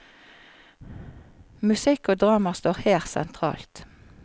Musikk og drama står her sentralt.